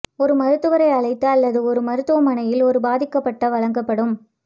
ஒரு மருத்துவரை அழைத்து அல்லது ஒரு மருத்துவமனையில் ஒரு பாதிக்கப்பட்ட வழங்கப்படும்